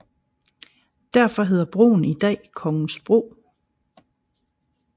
Derfor hedder broen i dag Kongensbro